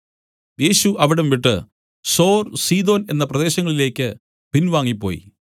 യേശു അവിടം വിട്ടു സോർ സീദോൻ എന്ന പ്രദേശങ്ങളിലേക്ക് പിൻവാങ്ങിപ്പോയി